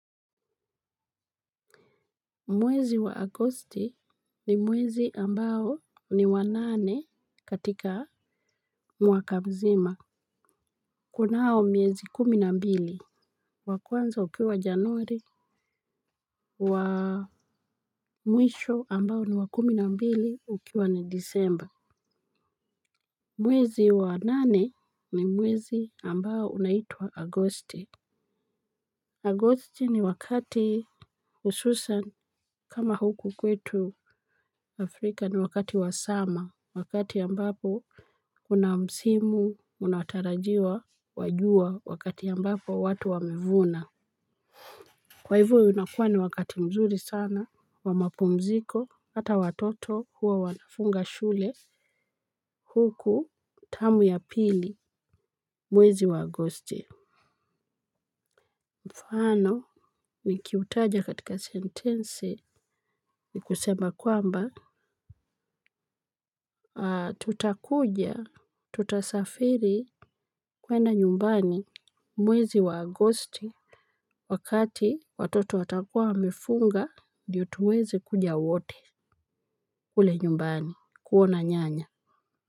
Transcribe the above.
Mwezi wa agosti ni mwezi ambao ni wa nane katika mwaka mzima. Kunao miezi kumi na mbili. Wakwanza ukiwa januari wa mwisho ambao ni wa kumi na mbili ukiwa ni disemba. Mwezi wa nane ni mwezi ambao unaitwa agosti. Agosti ni wakati hususan kama huku kwetu Afrika ni wakati wa Summer. Wakati ambapo kuna msimu unatarajiwa wa jua wakati ambapo watu wamevuna. Kwa hivyo unakuwa ni wakati mzuri sana wa mapumziko hata watoto huwa wanafunga shule huku term ya pili mwezi wa agosti. Mfano nikiutaja katika sentensi ni kusema kwamba Tutakuja. Tutasafiri kwenda nyumbani mwezi wa agosti. Wakati watoto watakuwa wamefunga ndiyo tuweze kuja wote kule nyumbani kuona nyanya.